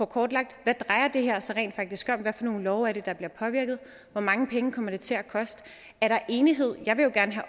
kortlagt hvad drejer det her sig rent faktisk om hvad for nogle love er det der bliver påvirket hvor mange penge kommer det til at koste er der enighed jeg vil jo gerne